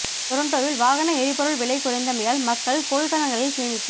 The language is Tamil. டொரண்டோவில் வாகன எரி பொருள் விலை குறைந்தமையால் மக்கள் கொள்கலன்களில் சேமிப்பு